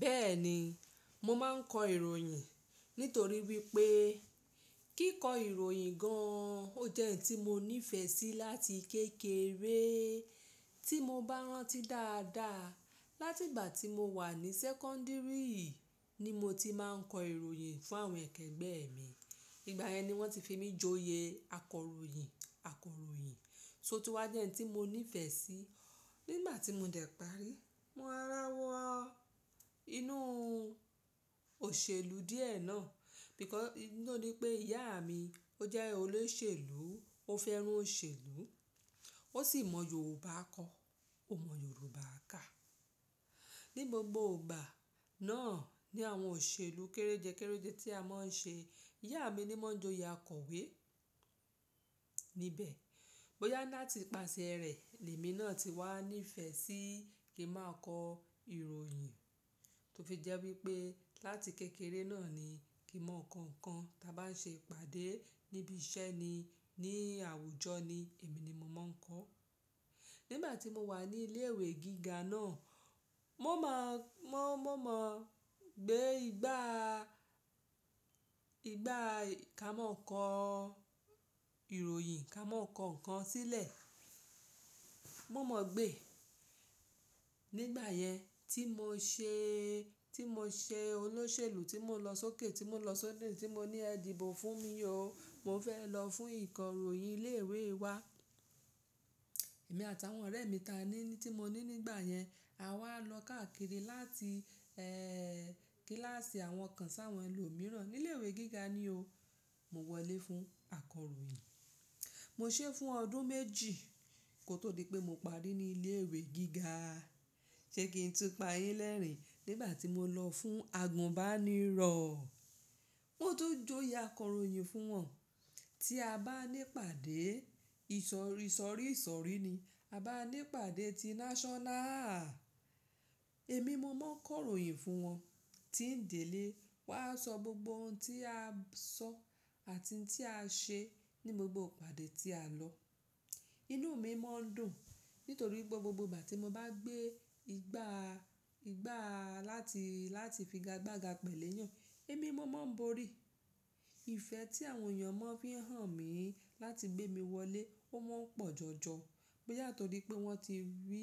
Bẹ́ẹ̀ni, mo máa ń kọ ìròyìn nítorí wípé kíkọ ìròyìn gan-an ó jẹ́ ohun tí mo nífẹ̀ẹ́ sí láti kékeré. Tí mo bá rán tí dáadáa, láti ìgbà tí mo wà ní sẹ́kọ́ńdìrì ni mo ti máa ń kọ ìròyìn fún àwọn ẹ̀kẹ́gbẹ́ mi. Ìgbà yẹn ni wọ́n ti fi mí joyè akọròyìn, akọròyìn. Sóòtún wa jẹ́ ohun tí mo nífẹ̀ẹ́ sí. Nígbà tí mo dẹ̀ parí, mo rọra wọ inú òṣèlú díẹ̀ náà. Because idí naa ni pé ìyá mi ó jẹ́ olóṣèlú, ó fẹ́ràn òṣèlú, ó sì mọ Yorùbá kọ, ó mọ Yorùbá kà. Ni gbogbo ìgbà náà ni àwọn òṣèlú kéréjẹ kéréjẹ tí a máa ń ṣe. Iyá mi ni wọ́n joyè akọ̀wé níbẹ̀. Bo yá láti ipàṣẹ rẹ̀, lèmi náà ti wá ní ìfẹ́ sí kí n máa kọ ìròyìn. Tó fi jẹ́ wípé láti kékeré náà ni kí n máa kọ ǹkan tí a bá ń ṣe ìpàdé níbi iṣẹ́ ni, ní àwùjọ ni èmi ni mo máa ń kọ. Nígbà tí mo wà ní ilé ìwé gíga náà, mo máa, mo, mo mọ gbé igba, igba ká máa kọ ìròyìn ká máa kọ ǹkan sílẹ̀. Mo mọ̀ gbé. Nígbà yẹn tí mo ṣe, tí mo ṣe olóṣèlú tí mo nlọ sókè tí mo nlọ sọ́dọ̀ ti mo ní ẹ̀díbò fún mi o. Mo fẹ́ lọ fún ìkọ̀ròyìn ilé ìwé wa. Èmi àtàwọn ọ̀rẹ́ mi ta ni tí mo ní nígbà yẹn. A wá lọ káàkiri láti, ẹ́, kíláàsì àwọn kan sáwọn ẹlòmíràn. Ni ilé ìwé gíga ni o, mo wọlé fún akọ̀ròyìn. Mo ṣe é fún ọdún méjì kó tó di pé mo parí ní ilé ìwé gíga. Ṣe kí n tún pa yín lẹ́rìn-ín? Nígbà tí mo lọ fún àgùnbánirọ̀, mo tún joyè akọ̀ròyìn fún wọn. Tí a bá ní ìpàdé, ìsọ̀rí sọ̀rí ìsọ̀rí ni. A bá ní ìpàdé ti náṣọ́nà. Ẹ̀mí mo máa ń kọ ìròyìn fún wọn. Tí ń délé, wà á sọ gbogbo ohun tí a sọ àti ohun tí a ṣe ní gbogbo ìpàdé tí a lọ. Inú mi máa ń dùn nítorí gbogbo ìgbà tí mo bá gbé igba, igba láti, láti figa gbagba pẹ̀lú èèyàn, èmi mo máa ń borí. Ìfẹ́ tí àwọn èèyàn máa ń fi hàn mí láti gbé mi wọlé ó máa ń pọ̀ jọ̀jọ̀. Boyà ntọ̀ri pé wọ́n ti rí,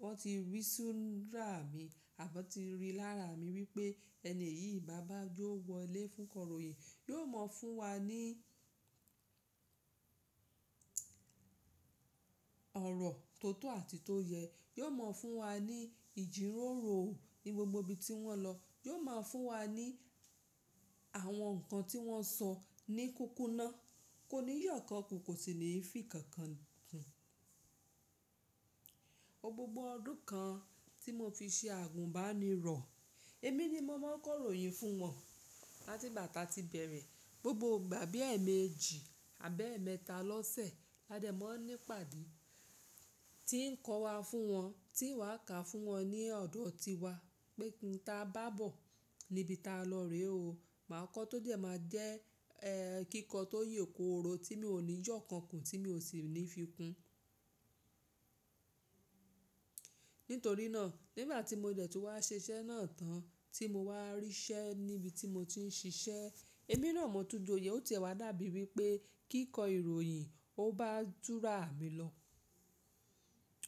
wọ́n ti rí súrà mi àbí wọ́n ti rí lára mi wípé ẹni yìí bá bá je ọ wọlé fún kọ̀ròyìn, yóò mọ̀ fún wa ní ọ̀rọ̀ tó tọ́ àti tó yẹ. Yóò mọ̀ fún wa ní ìjíròrò ní gbogbo ibi tí wọ́n lọ. Yóò máa ń fún wa ní àwọn ǹkan tí wọ́n sọ ní kúkúná. Kò ní yọ̀ kan ku kò sì ní fí kankan kùn. Gbogbo ọdún kan tí mo fi ṣe àgùnbánirọ̀, èmi ni mo máa ń kọ ìròyìn fún wọn. Láti ìgbà táa ti bẹ̀rẹ̀, gbogbo ìgbà bí ẹ̀ẹ̀mẹjì àbí ẹ̀ẹ̀mẹta lọ́sẹ̀ ládẹ̀ mó ń ní ìpàdé. Tí ń kọ wa fún wọn, tí ń wà ká fún wọn ní ọ̀dọ̀ tiwa pé n ta bá bọ̀ níbi tá lọ rè o. Màá kọ tó dẹ̀ máa jẹ́, ẹ́, kíkọ tó ye kooro tí mi ò ní yọ̀ kàn kù tí mi ò sì ní fi kún. Nítorí náà, nígbà tí mo dẹ̀ tún wá ṣiṣẹ́ náà tán tí mo wá rí iṣẹ́ níbi tí mo ti ń ṣiṣẹ́, èmi náà n mo tún joyè. Ó ti e wà dàbí wípé kíkọ ìròyìn ó bá súrà mi lọ.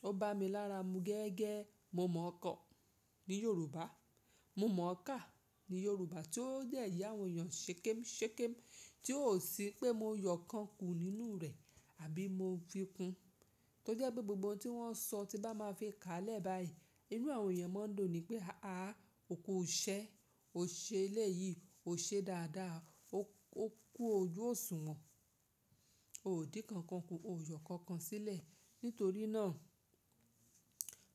Ó bá mi lára mu gẹ́gẹ́. Mo mọ̀ kọ ní Yorùbá. Mo mọ̀ ká ní Yorùbá tí ó dẹ̀ ye àwọn èèyàn Ṣékémù Ṣékémù tí ó sì pé mo yọ̀ kan kù nínú rẹ̀ àbí mo fi kún. Tó jẹ́ pé gbogbo ohun tí wọ́n sọ tí bá máa fi ká lẹ̀ báyìí, inú àwọn èèyàn máa ń dùn ni wípé, "àá, òkú iṣẹ́, ò ṣe eléyìí, ò ṣe dáadáa, ó, ó kú ojú òṣùwọ̀n, ò dín nkankan kù, ò yọ̀ nkankan sílẹ̀." Nítorí náà,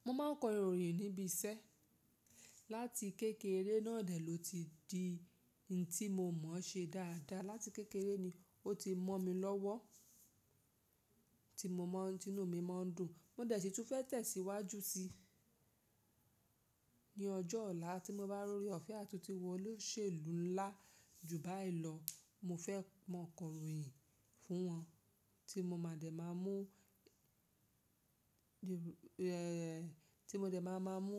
mo máa ń kọ ìròyìn níbi iṣẹ́. Láti kékeré náà dẹ̀ ló ti di n tí mo mọ̀ ṣe dáadáa. Láti kékeré ni ó ti mọ́ mi lọ́wọ́ tí mo mọ̀, tí inú mi máa ń dùn. Mo dẹ̀ si tún fẹ́ tẹ̀síwájú sí i ní ọjọ́ ọ̀la tí mo bá rí ọ̀fẹ́ àti tun wò olóṣèlú ńlá jù báyìí lọ. Mo fẹ́ máa kọ ìròyìn fún wọn tí mo máa dẹ̀ máa mú, Yorù ẹ̀, tí mo dẹ̀ máa máa mú.